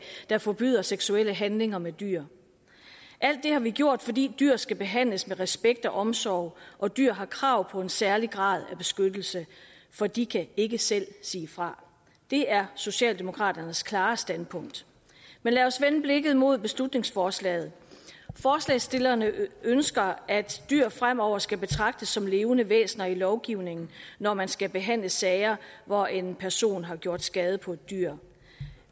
der forbyder seksuelle handlinger med dyr alt det har vi gjort fordi dyr skal behandles med respekt og omsorg og dyr har krav på en særlig grad af beskyttelse for de kan ikke selv sige fra det er socialdemokraternes klare standpunkt men lad os vende blikket mod beslutningsforslaget forslagsstillerne ønsker at dyr fremover skal betragtes som levende væsener i lovgivningen når man skal behandle sager hvor en person har gjort skade på et dyr